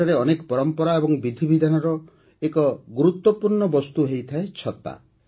ସେଠାରେ ଅନେକ ପରମ୍ପରା ଏବଂ ବିଧିବିଧାନର ଏକ ଗୁରୁତ୍ୱପୂର୍ଣ୍ଣ ବସ୍ତୁ ହୋଇଥାଏ ଛତା